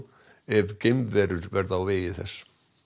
ef geimverur verða á vegi þess